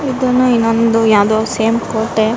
ಇದನ್ನ ನಮ್ದು ಯಾವ್ದೋ ಸೇಮ್ ಕೋಟೆ --